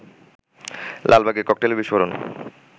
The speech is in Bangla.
লালবাগে ককটেলের বিস্ফোরণ